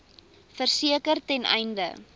verseker ten einde